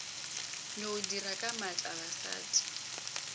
no dira ka maatla basadi